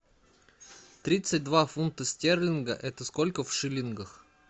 тридцать два фунта стерлинга это сколько в шиллингах